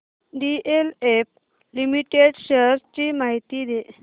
DLF limited shares ची माहिती दे